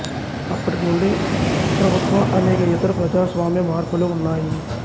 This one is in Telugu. అప్పటి నుండి ప్రభుత్వ అనేక ఇతర ప్రజాస్వామ్య మార్పులు ఉన్నాయి